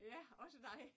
Ja? Også dig